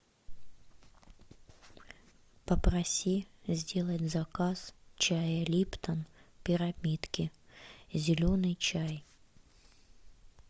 попроси сделать заказ чая липтон пирамидки зеленый чай